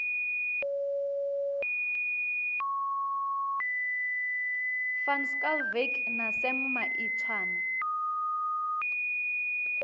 van schalkwyk na sam maitswane